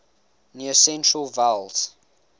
near central vowels